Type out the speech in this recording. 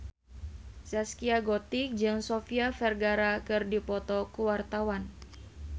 Zaskia Gotik jeung Sofia Vergara keur dipoto ku wartawan